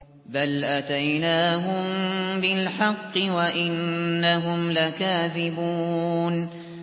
بَلْ أَتَيْنَاهُم بِالْحَقِّ وَإِنَّهُمْ لَكَاذِبُونَ